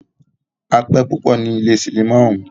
A pẹ́ púpọ ní ilé cinimá ọ̀ún.